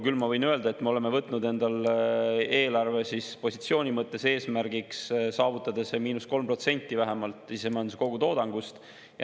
Küll ma võin öelda, et me oleme võtnud endale eelarvepositsiooni mõttes eesmärgiks saavutada vähemalt see –3% sisemajanduse kogutoodangust.